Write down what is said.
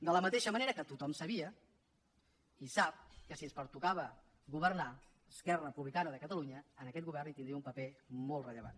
de la mateixa manera que tothom sabia i sap que si ens pertocava governar esquerra republicana de catalunya en aquest govern hi tindria un paper molt rellevant